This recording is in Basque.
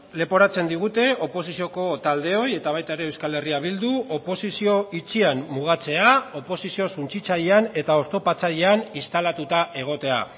leporatzen digute oposizioko taldeoi eta baita ere euskal herria bildu oposizio itxian mugatzea oposizio suntsitzailean eta oztopatzailean instalatuta egotea